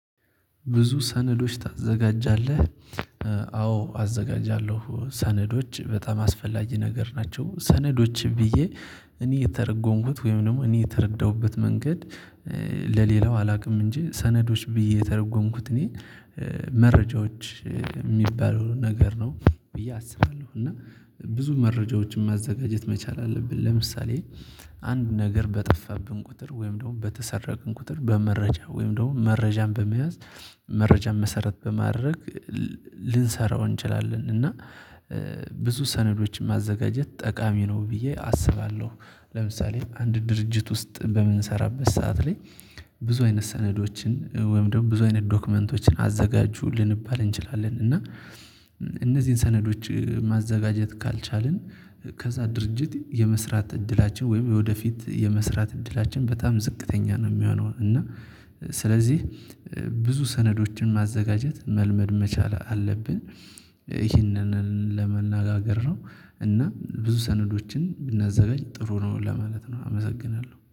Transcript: ብዙ ሰነዶች ታዘጋጃለህ? አዎ አዘጋጃለሁ ሰነዶች በጣም አስፈላጊ ነገር ናቸው። ሰነዶችም ብዬ እኔ የተረጎምኩት ወይም ደግሞ እኔ የተረዳሁበት መንገድ ለሌላው አላውቅም። እንጂ ሰነዶች ብዬ የተረጎምኩት እኔ መረጃዎች የሚባሉ ነገር ነው። ብዬ አስባለሁ እና ብዙ መረጃዎችን ማዘጋጀት መቻል አለብን። ለምሳሌ አንድ ነገር በጠፋብን ቁጥር ወይም ደግሞ በተሰረቀን ቁጥር በመረጃ ወይም ደግሞ መረጃን በመያዝ መረጃን መሰረት በማድረግ ልንሰራው እንችላለን። እና ብዙ ሰነዶችን ማዘጋጀት ጠቃሚ ነው ብዬ አስባለሁ። ለምሳሌ አንድ ድርጅት ውስጥ በምንሰራበት ሰዓት ላይ ብዙ አይነት ሰነዶችን ወይም ደግሞ ብዙ አይነት ዶክመንቶችን አዘጋጁ ልንባል እንችላለን። እና እነዚህን ሰነዶች ማዘጋጀት ካልቻልን ከዛ ድርጅት የመስራት እድላችን ወይም የወደፊት የመስራት እድላችን በጣም ዝቅተኛ ነው የሚሆነው። እና ስለዚህ ብዙ ሰነዶችን ማዘጋጀት መልመድ መቻል አለብን። ይህንን ለመነጋገር ነው። እና ብዙ ሰነዶችን እናዘጋች ጥሩ ነው ለማለት ነው አመሰግናለሁ